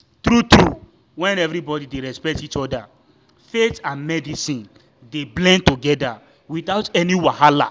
true-true when everybody dey respect each other faith and medicine dey blend together without any wahala.